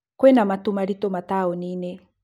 Kwĩ na matũ maritũ matuinĩ